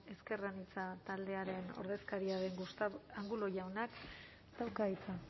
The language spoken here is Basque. ezker anitza taldearen ordezkaria den gustavo angulo jaunak dauka hitza